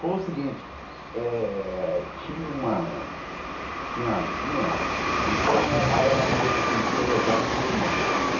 Foi o seguinte eh, tinha uma tiazinha, então ela era meio enxodozada com meu irmão.